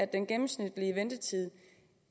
den gennemsnitlige ventetid